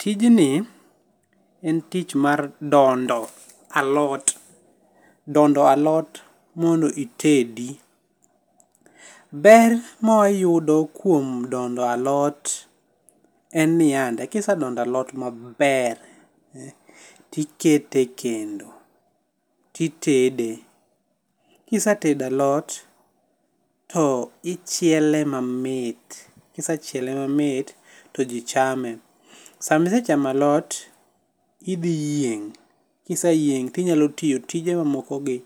Tijni, en tich mar ndondo alot, ndondo alot mondo itedi. Ber mawayudo kuom dondo alot en niyande, kisedondo alot maber tikete e kendo titede. kisetedo alot, to ichiele mamit. Kisechiele mamit to ji chame. Sama isechamo alot, tidhi yieng',kiseyieng' tinyalo tiyo tije mamokogi